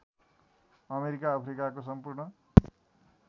America अफ्रिकाको सम्पूर्ण